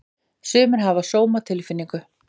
Sumir hafa sómatilfinningu.